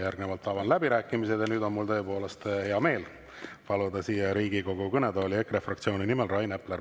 Järgnevalt avan läbirääkimised ja nüüd on mul tõepoolest hea meel paluda siia Riigikogu kõnetooli EKRE fraktsiooni esindaja Rain Epler.